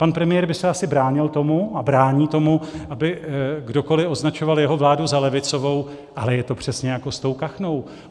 Pan premiér by se asi bránil tomu a brání tomu, aby kdokoli označoval jeho vládu za levicovou, ale je to přesně jako s tou kachnou.